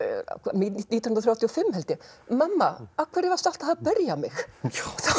nítján hundruð þrjátíu og fimm held ég mamma af hverju varstu alltaf að berja mig þá